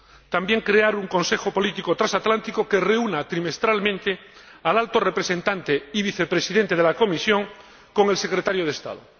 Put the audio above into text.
también, crear un consejo político transatlántico que reúna trimestralmente al Alto Representante y Vicepresidente de la Comisión con el Secretario de Estado